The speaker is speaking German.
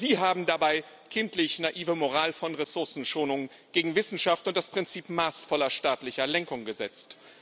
Sie haben dabei kindlich naive Moral von Ressourcenschonung gegen Wissenschaft und das Prinzip maßvoller staatlicher Lenkung gesetzt.